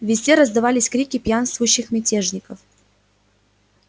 везде раздавались крики пьянствующих мятежников